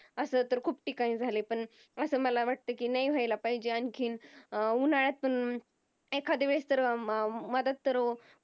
अस तर खूप ठिकाणी झालाय पण अस मला वाटतय कि न्हायी व्हायला पाहिजेत आणखीन अं उन्हाळ्यात पण एखाद्या वेळेस तर मदत तर